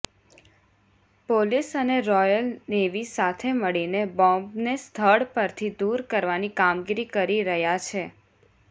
police અને Royal Navy સાથે મળીને બોંબને સ્થળ પરથી દૂર કરવાની કામગીરી કરી રહ્યા છે